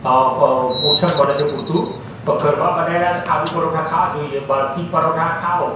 પોષણ મળે છે પૂરતું પણ ઘરમાં બનેલા આલુ પરોઠા ખાવા જોઈએ બહારથી પરોઠા ખાવ--